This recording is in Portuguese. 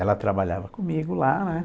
Ela trabalhava comigo lá, né?